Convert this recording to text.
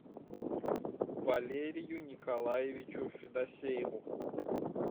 валерию николаевичу федосееву